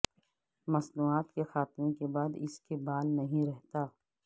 مصنوعات کے خاتمے کے بعد اس کے بال نہیں رہتا